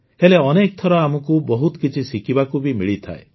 ହେଲେ ଅନେକଥର ଆମକୁ ବହୁତ କିଛି ଶିଖିବାକୁ ବି ମିଳିଥାଏ